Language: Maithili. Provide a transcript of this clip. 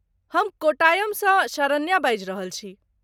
हम कोट्टायमसँ शरण्या बाजि रहल छी।